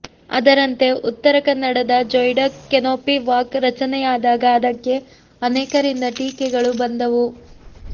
ಅದರಂತೆ ಉತ್ತರ ಕನ್ನಡದ ಜೊಯಿಡಾ ಕೆನೊಪಿ ವಾಕ್ ರಚನೆಯಾದಾಗ ಅದಕ್ಕೆ ಅನೇಕರಿಂದ ಟೀಕೆಗಳು ಬಂದವು